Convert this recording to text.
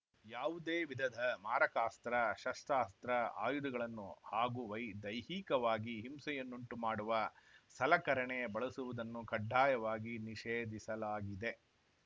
ಯಾವುದೇ ವಿಧದ ಮಾರಕಾಸ್ತ್ರ ಶಸ್ತ್ರಾಸ್ತ್ರ ಆಯುಧಗಳನ್ನು ಹಾಗೂ ವೈ ದೈಹಿಕವಾಗಿ ಹಿಂಸೆಯನ್ನುಂಟು ಮಾಡುವ ಸಲಕರಣೆ ಬಳಸುವುದನ್ನು ಕಡ್ಡಾಯವಾಗಿ ನಿಷೇಧಿಸಲಾಗಿದೆ